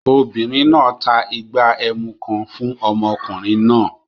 Obìnrin náà ta ìgbà ẹmu kan fún ọmọkùnrin náà